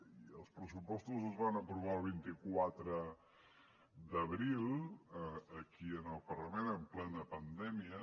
i els pressupostos es van aprovar el vint quatre d’abril aquí al parlament en plena pandèmia